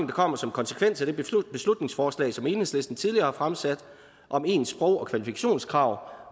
kommer som konsekvens af det beslutningsforslag som enhedslisten tidligere har fremsat om ens sprog og kvalifikationskrav